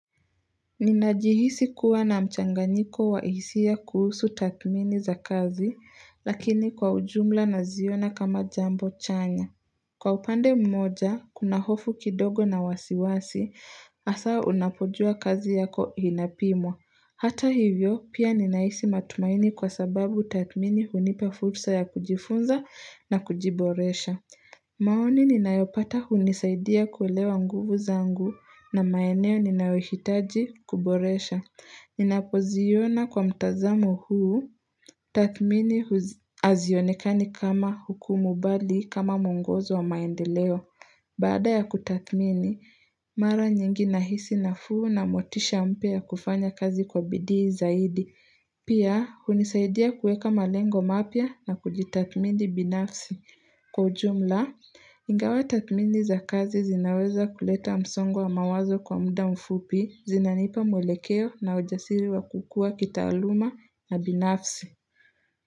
Ninajihisi kuwa na mchanganyiko wa hisia kuhusu tathmini za kazi, lakini kwa ujumla naziona kama jambo chanya. Kwa upande mmoja, kuna hofu kidogo na wasiwasi, hasa unapojua kazi yako inapimwa. Hata hivyo, pia ninahisi matumaini kwa sababu tathmini hunipa fursa ya kujifunza na kujiboresha. Maoni ninayopata hunisaidia kuelewa nguvu zangu na maeneo ninayohitaji kuboresha. Ninapoziona kwa mtazamo huu, tathmini hazionekani kama hukumu bali kama muongozo wa maendeleo. Baada ya kutathmini, mara nyingi nahisi nafuu na motisha mpya ya kufanya kazi kwa bidii zaidi. Pia, kunisaidia kuweka malengo mapya na kujitathmini binafsi. Kwa ujumla, ingawa tathmini za kazi zinaweza kuleta msongo wa mawazo kwa muda mfupi zinanipa mwelekeo na ujasiri wa kukua kitaaluma na binafsi.